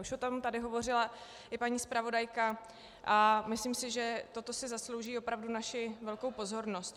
Už o tom tady hovořila i paní zpravodajka a myslím si, že toto si zaslouží opravdu naši velkou pozornost.